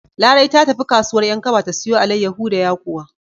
Larai ta tafi kasuwar 'Yankaba ta siyo alaiyawu da yakuwa.